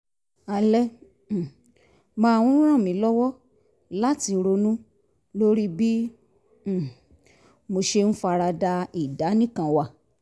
alẹ́ um máa ń ràn mí lọ́wọ́ láti ronú lórí bí um mo ṣe ń fara da ìdánìkanwà